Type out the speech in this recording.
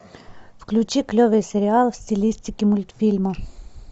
включи клевый сериал в стилистике мультфильма